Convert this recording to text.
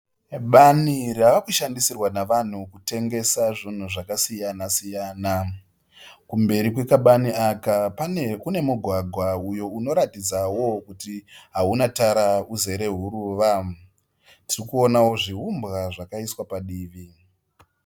Bani ravakushandisirwa navanhu kutengesa zvinhu zvakasiyana siyana. Kumberi kwekabani aka kune mugwagwa unoratidza kuti hauna tara uzere huruva. Tiri kuonawo zviumbwa zvakaiswa padivi.